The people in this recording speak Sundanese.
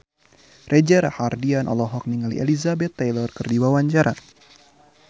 Reza Rahardian olohok ningali Elizabeth Taylor keur diwawancara